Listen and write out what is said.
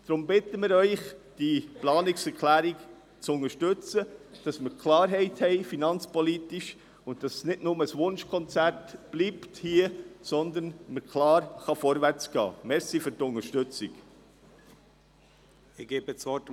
Deshalb bitte ich Sie, diese Planungserklärung zu unterstützen, damit wir finanzpolitisch Klarheit haben und vorwärtsgehen können und es nicht bei einem Wunschkonzert bleibt.